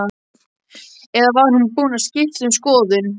Eða var hún búin að skipta um skoðun?